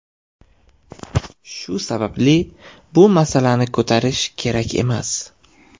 Shu sababli bu masalani ko‘tarish kerak emas.